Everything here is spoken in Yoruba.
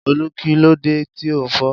Olú kí ló dé tí o ńfò